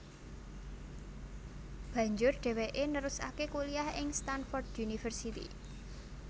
Banjur dheweke nerusake kuliyah ing Stanford University